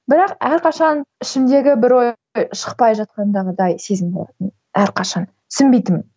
бірақ әрқашан ішімдегі бір ой шықпай жатқандағыдай сезім болатын әрқашан түсінбейтінмін